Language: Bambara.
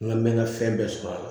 N ka mɛn ka fɛn bɛɛ sɔrɔ a la